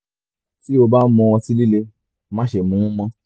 ti o ba n mu ọti-lile máṣe mu ú mọ